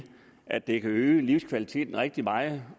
at det kan øge livskvaliteten rigtig meget